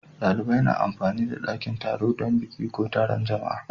Dalibai na amfani da dakin taro dan biki ko taron jama'a.